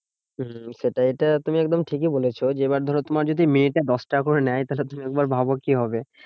হম সেটা এটা তুমি একদম ঠিকই বলেছো যে, এবার ধরো তোমার যদি মিনিটে দশটাকা করে নেয় তাহলে তুমি একবার ভাব কি হবে?